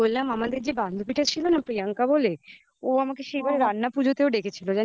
বললাম আমাদের যে বান্ধবীটা ছিল না প্রিয়াঙ্কা বলে ও আমাকে সেইবার রান্না পুজোতে ডেকেছিল